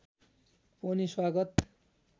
पनि स्वागत